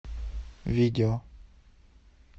видео